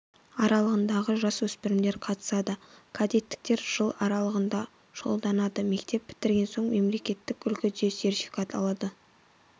аралығындағы жас өспірімдер қатысады кадеттіктер жыл аралығында шұғылданады мектеп бітірген соң мемлекеттік үлгіде сертификат алады